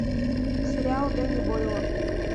сериал дэнни бойла